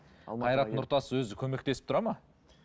қайрат нұртас өзі көмектесіп тұрады ма